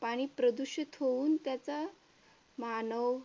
पाणी प्रदूषित होऊन त्याचा मानव